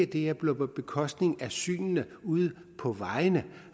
bliver på bekostning af synene ude på vejene